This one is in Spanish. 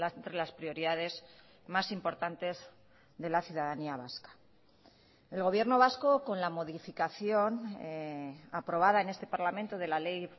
entre las prioridades más importantes de la ciudadanía vasca el gobierno vasco con la modificación aprobada en este parlamento de la ley